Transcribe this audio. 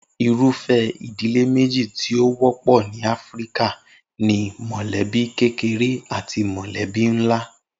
Irúfé̩ ìdílé méjì tí ó wó̩pò̩ ni Áfíríkà ni mò̩lébí kékeré àti mò̩lé́bí ńlá